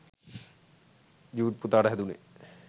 ජුඞ් පුතාට හැදුනේ